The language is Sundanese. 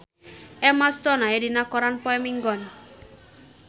Emma Stone aya dina koran poe Minggon